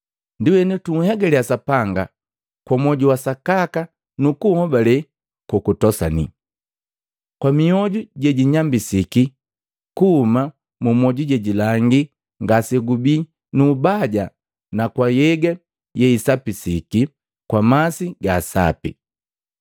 Ndienu tunhegaliya Sapanga kwa mwoju wa sakaka nu kuhobale kokutosani, kwa mioju jejinyambisiki kuhuma mu mwoju je jilangi ngasegubii nu ubaja na kwa nhyega yeisapisiki kwa masi ga sapi.